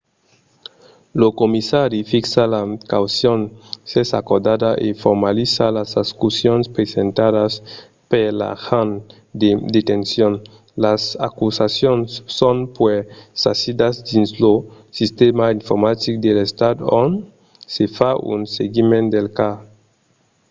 lo comissari fixa la caucion s'es acordada e formaliza las acusacions presentadas per l'agent de detencion. las acusacions son puèi sasidas dins lo sistèma informatic de l'estat ont se fa un seguiment del cas